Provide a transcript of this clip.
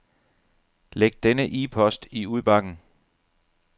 Læg denne e-post i udbakken.